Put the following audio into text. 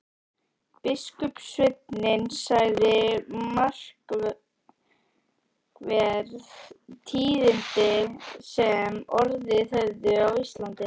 Biskupssveinninn sagði markverð tíðindi sem orðið höfðu á Íslandi.